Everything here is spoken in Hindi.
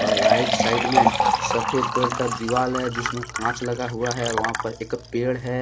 और राइट साइड में सफेद कलर का दीवार है जिसमें कांच लगा युवा है और वहां पर एक पेड़ है ।